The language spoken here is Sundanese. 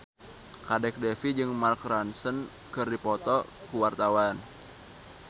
Kadek Devi jeung Mark Ronson keur dipoto ku wartawan